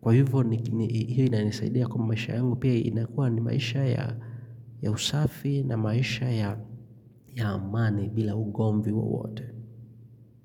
Kwa hivyo hii inanisaidia kwa maisha yangu pia inakua ni maisha ya usafi na maisha ya amani bila ugomvi wowote.